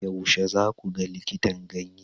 Yaushe za ku ga likitan ganye?